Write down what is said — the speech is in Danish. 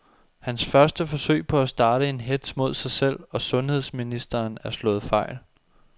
Hans første forsøg på at starte en hetz mod sig selv og sundheds ministeren er slået fejl.